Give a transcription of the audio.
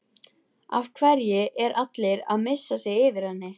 Af hverju er allir að missa sig yfir henni?